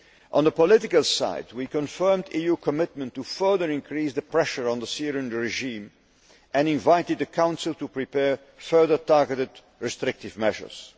funding. On the political side we confirmed the EU's commitment to further increase the pressure on the Syrian regime, and invited the Council to prepare further targeted restrictive